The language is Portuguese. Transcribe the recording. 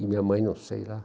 E minha mãe, não sei lá.